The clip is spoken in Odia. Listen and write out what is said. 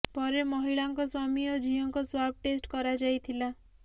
ପରେ ମହିଳାଙ୍କ ସ୍ୱାମୀ ଓ ଝିଅଙ୍କ ସ୍ୱାବ୍ ଟେଷ୍ଟ କରାଯାଇଥିଲା